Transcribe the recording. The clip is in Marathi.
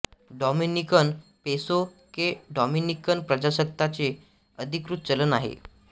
डॉमिनिकन पेसो हे डॉमिनिकन प्रजासत्ताकाचे अधिकृत चलन आहे